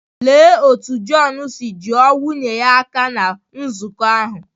Lee otú John si juo nwunye ya aka ná nzukọ ahụ